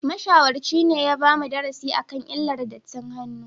Mashawarci ne ya bamu darasi akan illar dattin hannu